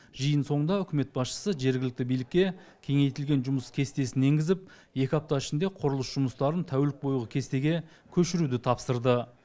жиын соңында үкімет басшысы жергілікті билікке кеңейтілген жұмыс кестесін енгізіп екі апта ішінде құрылыс жұмыстарын тәулік бойғы кестеге көшіруді тапсырды